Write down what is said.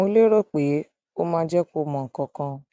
mo lérò pé pé ó máa jẹ kó mọ nǹkan kan